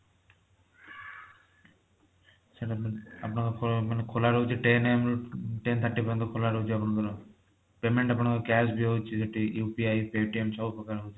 ସେଇଟା ଆପଣଙ୍କର ଖୋଲା ମାନେ ଖୋଲା ରହୁଛି ten am ରୁ ten thirty ପର୍ଯ୍ୟନ୍ତ ଖୋଲା ରହୁଛି ଆପଣଙ୍କର payment ଆପଣଙ୍କର cash ବି ହଉଛି ଏଠି UPI paytm ସବୁ ପ୍ରକାର ହଉଛି